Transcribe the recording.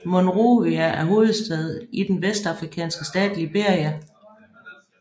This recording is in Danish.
Monrovia er hovedstad i den vestafrikanske stat Liberia